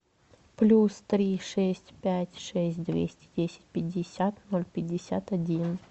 плюс три шесть пять шесть двести десять пятьдесят ноль пятьдесят один